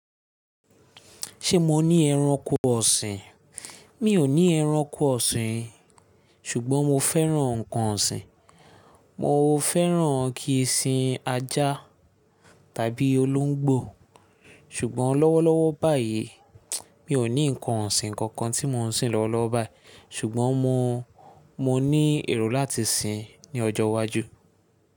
Ṣé mo ní ẹranko ọ̀sìn? Mi ò ní ẹranko ọ̀sìn, ṣùgbọ́n mo fẹ́ràn ǹkan ọ̀sìn. Mo fẹ́ràn kí ń sìn ajá tàbí olóńgbò, ṣùgbọ́n lọ́wọ́lọ́wọ́ báyìí mi ò ní ǹkan ọ̀sìn kankan tí mò ń sìn lọ́wọ́lọ́wọ́ báyìí ṣùgbọ́n mo, mo ní èrò láti sìn ní ọjọ́ iwájú.